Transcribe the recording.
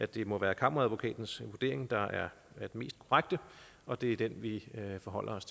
det må være kammeradvokatens vurdering der er den mest korrekte og det er den vi forholder os